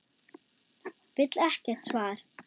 Vill ekkert svar.